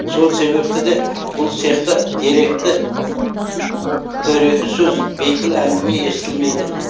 сол себепті де бұл цехта дөрекі сөз бейпіл әңгіме естілмейді